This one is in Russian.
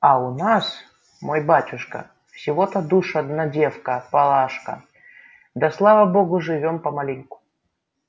а у нас мой батюшка всего-то душ одна девка палашка да слава богу живём помаленьку